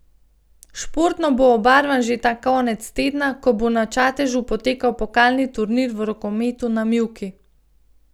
Športno bo obarvan že ta konec tedna, ko bo na Čatežu potekal pokalni turnir v rokometu na mivki.